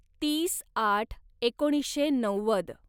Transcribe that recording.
तीस आठ एकोणीसशे नव्वद